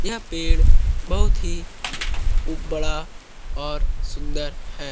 यह पेड़ बहुत ही बड़ा और सुन्दर है ।